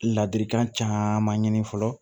Ladilikan caman ɲini fɔlɔ